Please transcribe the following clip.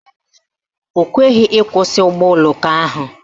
O kweghị ịkwụsị ụgbọoloko ahụ